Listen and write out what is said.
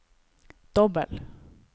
dobbel